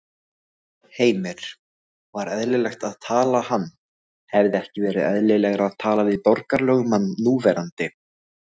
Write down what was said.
Heimir: Var eðlilegt að tala hann, hefði ekki verið eðlilegra að tala við borgarlögmann núverandi?